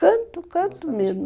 Canto, canto mesmo.